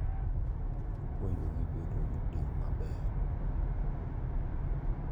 Ipuonjo gi bedo gi tim maber.